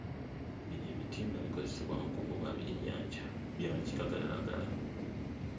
Bino ebitimba bikozesebwa mu kuvuba byennyanja bya kiragalalagala.